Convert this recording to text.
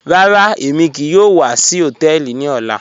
Rárá, èmi kíì yòò wà sí họ̀tẹ̀ẹlì ní ọ̀là.